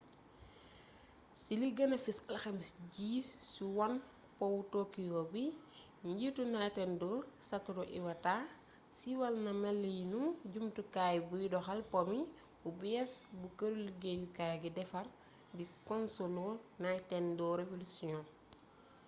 ci li gëna fes alxames ji ci wone powu tokyo bi njiitu nintendo satoru iwata siiwal na melinu jumtukaay buy doxal po mi bu bées bu këru liggéyukaay gi defar di konsolu nintendo revolution